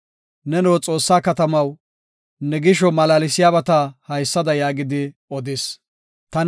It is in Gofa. Neno Xoossaa katamaw, ne gisho malaalsiyabata haysada yaagidi odis. Salaha